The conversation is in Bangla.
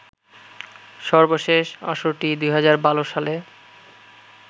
সর্বশেষ আসরটি ২০১২ সালে